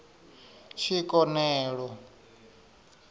tshikonelo